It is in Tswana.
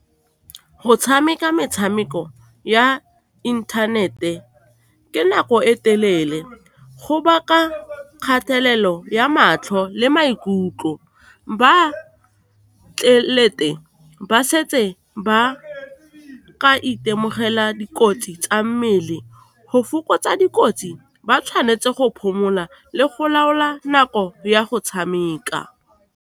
Go tshameka metshameko ya inthanete ke nako e telele, go baka kgatelelo ya matlho le maikutlo, ba ba setse ba ka itemogela dikotsi tsa mmele. Go fokotsa dikotsi, ba tshwanetse go phomola le go laola nako ya go tshameka.